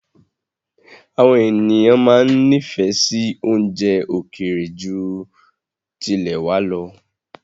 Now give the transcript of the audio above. Àwọn ènìyàn máa ń nifẹ si oúnjẹ ókéré ju tilẹ̀ wá lọ